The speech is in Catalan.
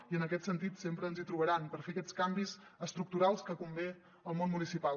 i en aquest sentit sempre ens hi trobaran per fer aquests canvis estructurals que convé al món municipal